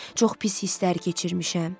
Çox pis hisslər keçirmişəm.